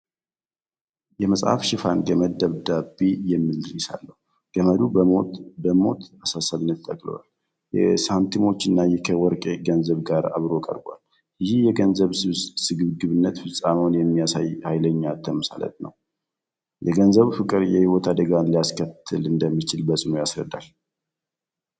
የመጽሐፉ ሽፋን ገመድ ደብዳቤ የሚል ርዕስ አለው። ገመዱ በሞት አሳሳቢነት ተጠቅልሎ፣ ከሳንቲሞችና ከወርቅ ገንዘብ ጋር አብሮ ቀርቧል። ይህ የገንዘብ ስግብግብነትንና ፍጻሜውን የሚያሳይ ኃይለኛ ተምሳሌት ነው። የገንዘብ ፍቅር የሕይወት አደጋን ሊያስከትል እንደሚችል በጽኑ ያስረዳል።